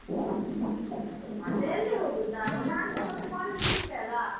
ಮತ್ತೆ ಎಲ್ಲಿ ಹೋಗುದು ನಾವು ನಾನ್ಸ ಮತ್ತೆ college ಬಿಟ್ಟೆ ಅಲ್ಲ.